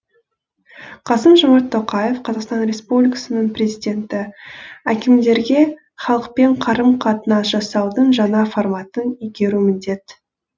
қасым жомарт тоқаев қазақстан республикасының президенті әкімдерге халықпен қарым қатынас жасаудың жаңа форматын игеру міндет